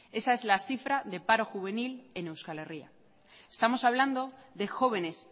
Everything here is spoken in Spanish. esa es la cifra de paro juvenil en euskal herria estamos hablando de jóvenes